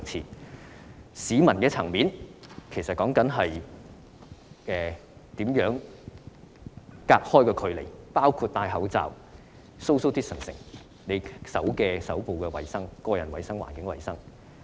在市民的層面，應做到分隔距離，包括佩戴口罩、保持社交距離、手部衞生、個人衞生及環境衞生。